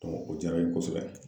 o diyara n ye kosɛbɛ.